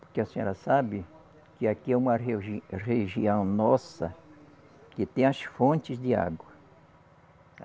Porque a senhora sabe que aqui é uma reugi região nossa que tem as fontes de água.